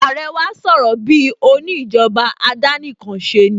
Àrẹ wá sọ̀rọ̀ bíi òní ìjọba àdánìkanṣeni